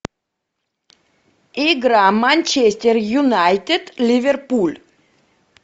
игра манчестер юнайтед ливерпуль